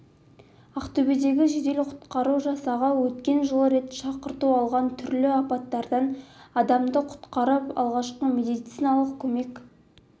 ақтөбедегі жедел құтқару жасағы өткен жылы рет шақырту алған түрлі апаттардан адамды құтқарып алғашқы медициналық көмек